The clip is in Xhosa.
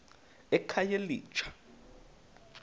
ekhayelitsha